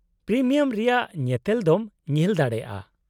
-Premium ᱨᱮᱭᱟᱜ ᱧᱮᱛᱮᱞ ᱫᱚᱢ ᱧᱮᱞ ᱫᱟᱲᱮᱭᱟᱜᱼᱟ ᱾